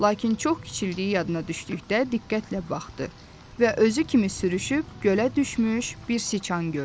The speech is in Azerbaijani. Lakin çox kiçildiyi yadına düşdükdə diqqətlə baxdı və özü kimi sürüşüb gölə düşmüş bir siçan gördü.